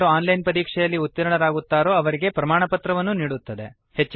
ಯಾರು online ಪರೀಕ್ಷೆಯಲ್ಲಿ ಉತೀರ್ಣರಾಗುತ್ತಾರೋ ಅವರಿಗೆ ಪ್ರಮಾಣಪತ್ರವನ್ನೂ ನೀಡುತ್ತದೆ